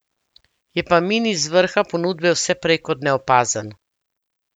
Je pa mini z vrha ponudbe vse prej kot neopazen.